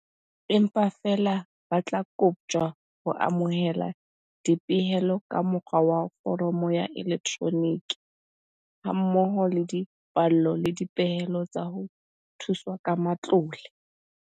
Empa feela ba tla koptjwa ho amohela dipehelo ka mo kgwa wa foromo ya elektroniki, ha mmoho le dipallo le dipehelo tsa ho thuswa ka matlole.